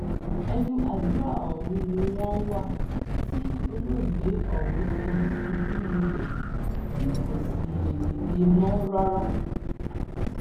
ẹnu àdúrà ọhún ni wọn wà tí olóògbé ọhún fi ṣubú lulẹ tí kò sì lè dìde mọ rárá